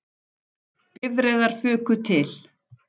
Bifreiðar fuku til